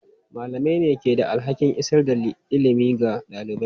Malamai ne ke da alhakin isar da ilimi ga ɗalibai.